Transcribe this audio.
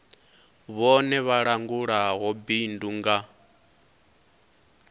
vhone vha langulaho bindu nga